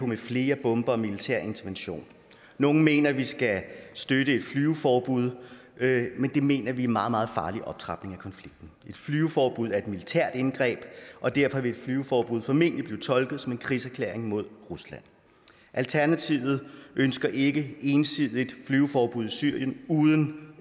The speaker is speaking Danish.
med flere bomber og militær intervention nogle mener at vi skal støtte et flyveforbud men det mener vi er en meget meget farlig optrapning af konflikten et flyveforbud er et militært indgreb og derfor vil et flyveforbud formentlig blive tolket som en krigserklæring mod rusland alternativet ønsker ikke ensidigt flyveforbud i syrien uden